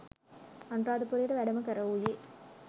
අනුරාධපුරයට වැඩම කරවූයේ